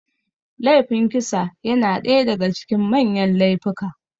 Laifin kisa yana ɗaya daga cikin manyan laifika